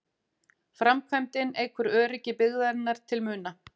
Framkvæmdin eykur öryggi byggðarinnar til muna